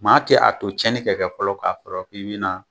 Maa tɛ a to cɛnnin ka kɛ fɔlɔ k'a fɔlɔ k'i bina